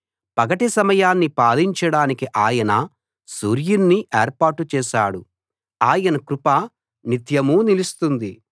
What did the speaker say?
పగటి సమయాన్ని పాలించడానికి ఆయన సూర్యుణ్ణి ఏర్పాటు చేశాడు ఆయన కృప నిత్యమూ నిలుస్తుంది